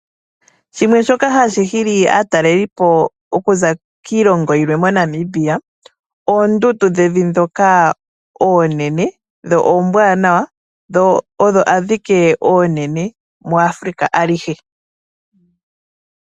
Shimwe shoka hashi hili aataleli po okuza kiilongo yilwe moNamibia oondundu dhevi ndhoka oonene dho ombwaanawa dho adhike oonene muAfrica alihe.